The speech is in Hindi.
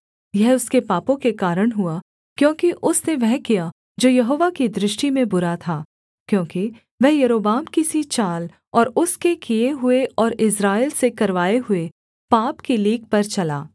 यह उसके पापों के कारण हुआ क्योंकि उसने वह किया जो यहोवा की दृष्टि में बुरा था क्योंकि वह यारोबाम की सी चाल और उसके किए हुए और इस्राएल से करवाए हुए पाप की लीक पर चला